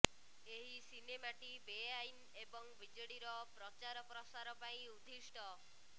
ଏହି ସିନେମାଟି ବେଆଇନ ଏବଂ ବିଜେଡିର ପ୍ରଚାର ପ୍ରସାର ପାଇଁ ଉଦ୍ଦିଷ୍ଟ